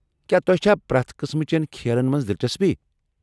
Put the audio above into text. کیا تۄہہ چھا پرٛٮ۪تھ قٕسمٕہٕ چین کھیلن منٛز دلچسپی ؟